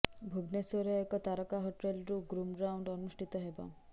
ଭୁବନେଶ୍ୱରର ଏକ ତାରକା ହୋଟେଲ୍ରେ ଗ୍ରୁମ୍ ରାଉଣ୍ଡ ଅନୁଷ୍ଠିତ ହେବ